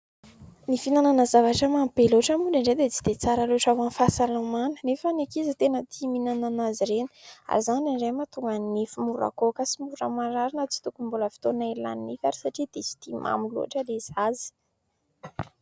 Ny fihinanana zavatra mamy be loatra moa indraindray dia tsy dia tsara loatra amin'ny fahasalamana, nefa ny ankizy tena tia mihinana azy ireny ary izany indray mahatonga ny nify mora goaka sy mora marary na tsy tokony mbola fotoana hialan'ny nifiny ary satria tia mamy loatra ilay zaza.